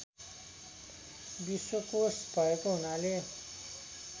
विश्वकोष भएको हुनाले